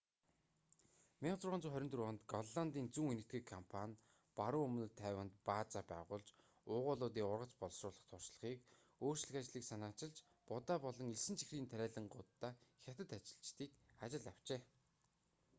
1624 онд голландын зүүн энэтхэг компани баруун өмнөд тайванд баазаа байгуулж уугуулуудын ургац боловсруулах туршлагыг өөрчлөх ажлыг санаачилж будаа болон элсэн чихрийн тариалангууддаа хятад ажилчдыг ажилд авчээ